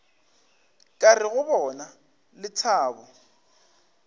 ka re go bona lethabo